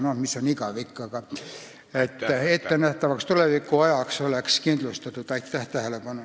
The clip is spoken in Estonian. Aitäh tähelepanu eest!